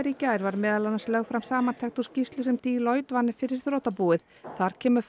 í gær var meðal annars lögð fram samantekt úr skýrslu sem Deloitte vann fyrir þrotabúið þar kemur